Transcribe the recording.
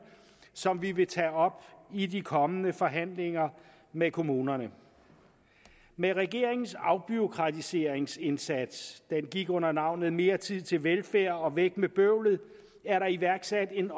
som vi vil tage op i de kommende forhandlinger med kommunerne med regeringens afbureaukratiseringsindsats der gik under navnene mere tid til velfærd og væk med bøvlet er der iværksat et